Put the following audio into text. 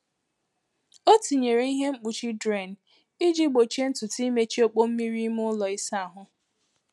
Ọ tinyere ihe mkpuchi drain iji gbochie ntutu imechi ọkpọ mmiri ime ụlọ ịsa ahụ.